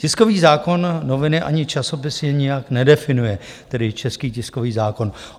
Tiskový zákon noviny ani časopisy nijak nedefinuje, tedy český tiskový zákon.